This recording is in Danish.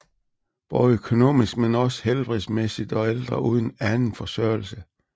Både økonomisk men også helbredsmæssigt og ældre uden anden forsørgelse